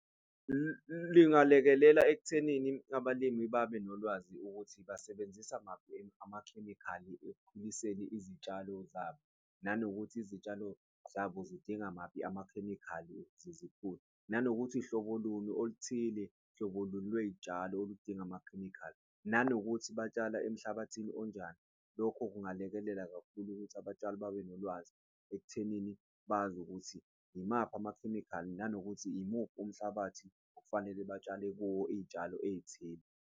Lingalekelela ekuthenini abalimi babe nolwazi ukuthi basebenzisa maphi amakhemikhali ekukhuliseni izitshalo zabo, nanokuthi izitshalo zabo zidinga maphi amakhemikhali ukuze zikhule, nanokuthi hlobo luni oluthile, hlobo luni lwey'tshalo oludinga amakhemikhali, nanokuthi batshala emhlabathini onjani. Lokho kungalekelela kakhulu ukuthi abatshali babe nolwazi ekuthenini bazi ukuthi imaphi amakhemikhali nanokuthi, imuphi umhlabathi okufanele batshale kuwo iy'tshalo ey'thile.